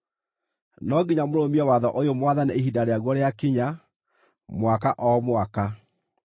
No nginya mũrũmie watho ũyũ mwathane ihinda rĩaguo rĩakinya, mwaka o mwaka.